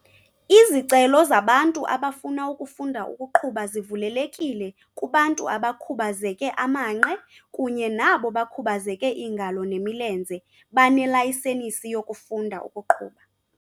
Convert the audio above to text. Izicelo zabantu abafuna ukufunda ukuqhuba zivulelekile kubantu abakhubazeke amanqe kunye nabo bakhubazeke iingalo nemilenze banelayisenisi yokufunda ukuqhuba.